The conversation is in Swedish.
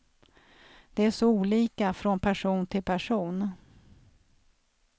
Det är så olika från person till person.